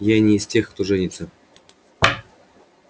я не из тех кто женится